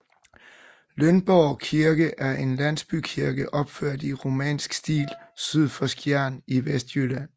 Lønborg Kirke er en landsbykirke opført i romansk stil syd for Skjern i Vestjylland